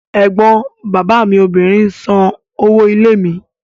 Ẹ̀gbọ́n bàbá mi obìnrin san owó ilé mi.